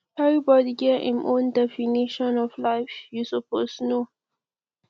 everybody get im own definition of life you suppose know